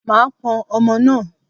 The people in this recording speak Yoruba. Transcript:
Màá pọn ọmọ náà.